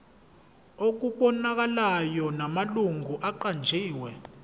okubonakalayo namalungu aqanjiwe